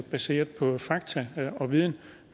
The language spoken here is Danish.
baseret på fakta og viden